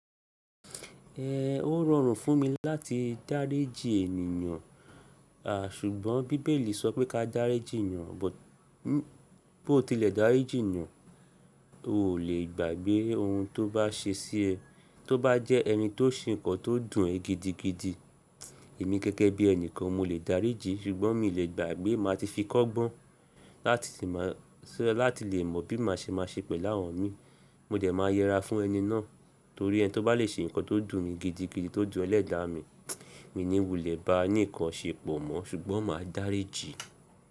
Ẹ ó rọrùn fún mi láti dáríji ènìyàn, à ṣùgbọ́n bí Bíbélì sọ pé ká dáríji ènìyàn, bó tílẹ̀ dáríji ènìyàn, o lè gbàgbé ohun tó bá ṣe sí ẹ. Tó bá jẹ́ ẹni tó ń ṣe nǹkan tó dùn ẹ gidigidi, èmi gẹ́gẹ́ bí ẹnìkan mo lè dáríji, ṣùgbọ́n mi ò lè gbàgbé má ti fi kọ́gbọ́n láti lè mọ̀ bí màá ṣe máa ṣe pẹ̀lú àwọn mi. Mo dẹ̀ máa yẹra fún ẹni náà torí ẹni tó bá lè ṣe nǹkan tó dùn mi gidigidi tó dùn ẹlẹ́dàá mi, mi ò ní wulẹ̀ ba ní nǹkan ṣe pò mó ṣùgbọ́n màá dáríji.